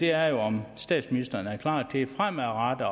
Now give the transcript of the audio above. er om statsministeren er klar til fremadrettet